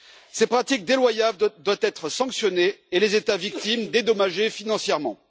Ces pratiques déloyales doivent être sanctionnées et les États victimes dédommagés financièrement.